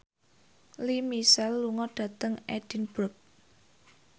Lea Michele lunga dhateng Edinburgh